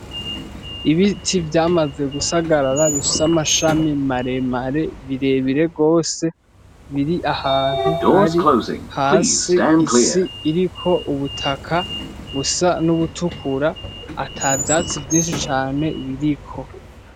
Ibiti vyamaze gusagarara bifise amashami maremare birebire gose, biri ahantu hari hasi, isi iriko ubutaka busa n'ubutukura atavyatsi vyinshi cane biriko.